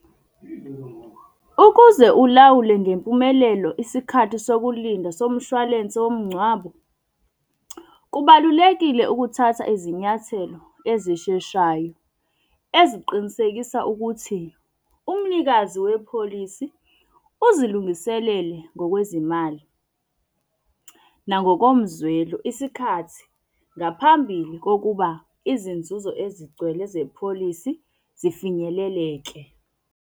Ukuze ulawule ngempumelelo isikhathi sokulinda somshwalense womngcwabo, kubalulekile ukuthatha izinyathelo ezisheshayo eziqinisekisa ukuthi umnikazi wepholisi uzilungiselele ngokwezimali nangokomzwelo. Isikhathi, ngaphambili kokuba izinzuzo ezigcwele zepholisi, zifinyeleleke.